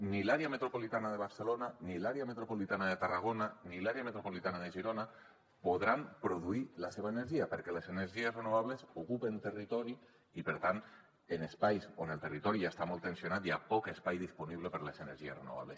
ni l’àrea metropolitana de barcelona ni l’àrea metropolitana de tarragona ni l’àrea metropolitana de girona podran produir la seva energia perquè les energies renovables ocupen territori i per tant en espais on el territori ja està molt tensionat hi ha poc espai disponible per a les energies renovables